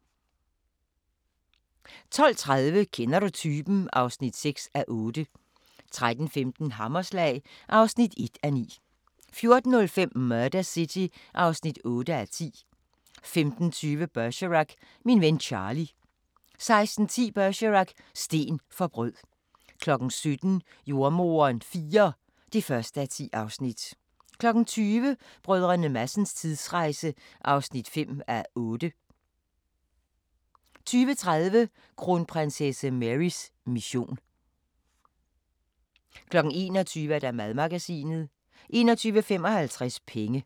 12:30: Kender du typen? (6:8) 13:15: Hammerslag (1:9) 14:05: Murder City (8:10) 15:20: Bergerac: Min ven Charlie 16:10: Bergerac: Sten for brød 17:00: Jordemoderen IV (1:10) 20:00: Brdr. Madsens tidsrejse (5:8) 20:30: Kronprinsesse Marys mission 21:00: Madmagasinet 21:55: Penge